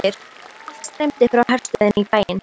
Allt streymdi frá herstöðinni í bæinn.